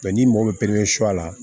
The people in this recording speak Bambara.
n'i mago bɛ la